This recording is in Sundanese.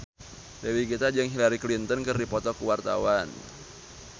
Dewi Gita jeung Hillary Clinton keur dipoto ku wartawan